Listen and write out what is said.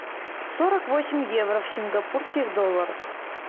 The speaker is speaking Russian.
сорок восемь евро в сингапурских долларах